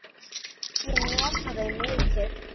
Ég nota þau mikið.